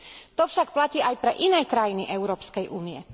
To však platí aj pre iné krajiny Európskej únie.